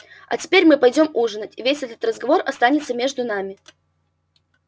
а теперь мы пойдём ужинать и весь этот разговор останется между нами